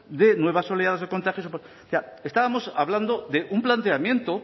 de nuevas oleadas de contagios o sea estábamos hablando de un planteamiento